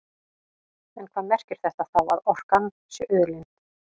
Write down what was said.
En hvað merkir þetta þá, að orkan sé auðlind?